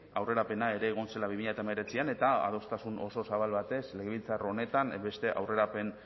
aurrerapena ere egon zela bi mila hemeretzian eta adostasun oso zabal batez legebiltzar honetan beste aurrerapen